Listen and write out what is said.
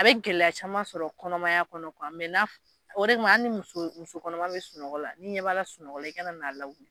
A be gɛlɛya caman sɔrɔ kɔnɔmaya kɔnɔ kuwa mɛ n'a f o de kama ali ni muso muso kɔnɔma be sunɔgɔ la ni ɲɛ b'a la sunɔgɔ la i kana n'a lawuli